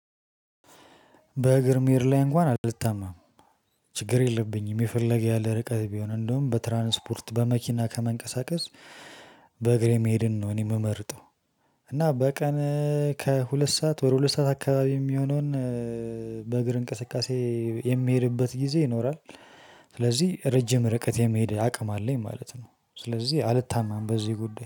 በእግር መሄድ ላይ እንኳን አልታማም። ችግር የለብኝም የፈለገ ያለ ርቀት ቢሆን እንደውም በትራንስፖርት በመኪና ከመንቀሳቀስ በእግሬ መሄድን ነው እኔ ምመርጠው። እና በቀን ከሁለት ሰዓት ወደ ሁለት ሰዓት አካባቢ የሚሆነውን በእግር እንቅስቃሴ የሚሄድበት ጊዜ ይኖራል። ስለዚህ ረጅም ርቀት የመሄድ አቅም አለኝ ማለት ነው። ስለዚህ አልታማም በዚህ ጉዳይ